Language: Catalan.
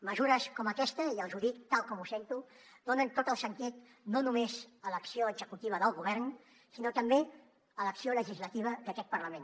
mesures com aquesta i els ho dic tal com ho sento donen tot el sentit no només a l’acció executiva del govern sinó també a l’acció legislativa d’aquest parlament